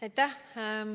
Aitäh!